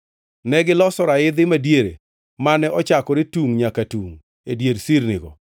Negiloso raidhi madiere mane ochakore tungʼ nyaka tungʼ e dier sirnigo.